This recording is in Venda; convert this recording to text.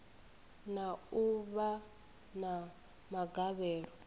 na u vha na magavhelo